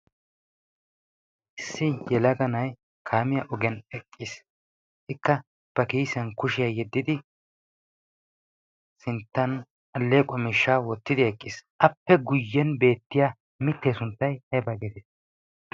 issi yelaga na'ay kaamiya ogiyan eqqiis. ikka ba kiisan kushiyaa yeddidi sinttan alleequwaa miishshaa wottidi eqqiis. appe guyyen beettiya mittee sunttai hebaa geetee?